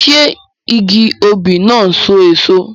Ṣé igi òbí náà n so èso?